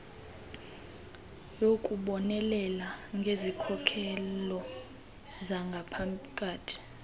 yokubonelela ngezikhokelo zangaphakathi